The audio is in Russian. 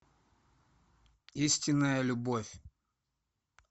истинная любовь